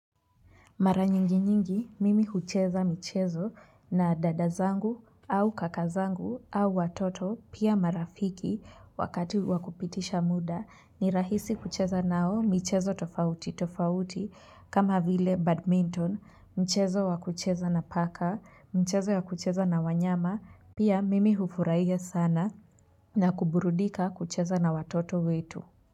Mara nyingi nyingi mimi hucheza michezo na dada zangu au kaka zangu au watoto pia marafiki wakati wakupitisha muda ni rahisi kucheza nao michezo tofauti tofauti kama vile badminton mchezo wakucheza na paka mchezo ya kucheza na wanyama pia mimi hufurahia sana na kuburudika kucheza na watoto wetu.